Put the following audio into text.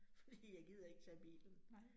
Fordi jeg gider ikke tage bilen